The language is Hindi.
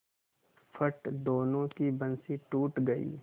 फट दोनों की बंसीे टूट गयीं